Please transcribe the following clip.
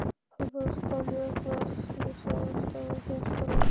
Pabbi hans kom upp á Slysavarðstofu, hélt hún áfram.